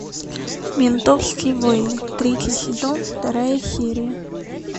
ментовские войны третий сезон вторая серия